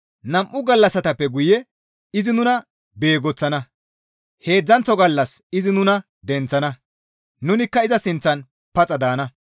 Nam7u gallassatappe guye izi nuna beegoththana; heedzdzanththo gallas izi nuna denththana; nunikka iza sinththan paxa daana.